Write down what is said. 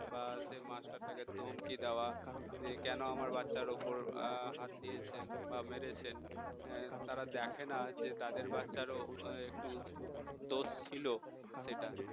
বা সেই মাস্টারটাকে ধমকি দেওয়া যে কেন আমার বাচ্চার উপর হাত দিয়েছেন বা মেরেছেন তারা দেখেনা যে তাদের বাচ্চারও একটু দোষ ছিল সেটা